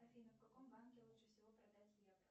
афина в каком банке лучше всего продать евро